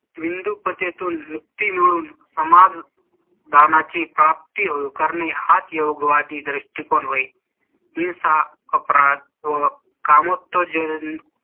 हिंदू पती तून मुक्ती मिळून समाज दाना ची प्राप्ती होईल. करणे हाच योग वादी दृष्टीकोन वय छत्तीसअपराध व काम होतं ते च्या